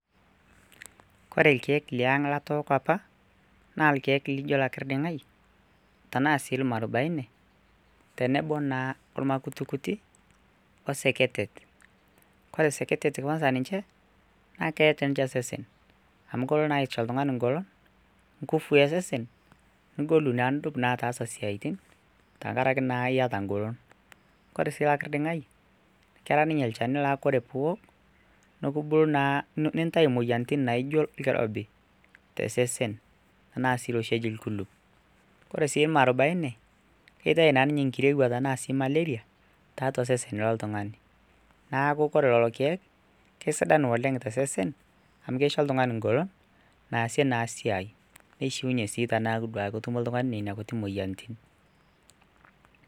Kore lkiek liang' latooko apa naa lkiek lijo lakirding'ai tanaasii ilmwarubaine, olmakutikuti oseketet, kore seketet kwansa ninche naa keetu ninche osesen amu kelo naa aicho oltungani engolon, ngufu esesen nigolu naa nidup ataasa esiaaitin tengaraki naa ieta engolon, kore sii okirding'ai kera ninye lcheni naa ore piok nintai moyiarritin naijo lkirobi te sesen anaa si oshi oji lkulup, ore sii irmwarubaine keitai naa ninye nkirewua anaa sii malaria taeatua sesen loltungani naaku kore lelo kiek kesidanu oleng te sesen amu keicho ltungani engolon nasie naa esiaai neishiunye naa sii teneaku duke ketumo ltungani nenia moyiarritin.